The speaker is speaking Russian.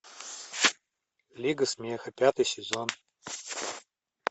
лига смеха пятый сезон